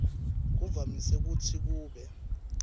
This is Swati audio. kuvamise kutsi kube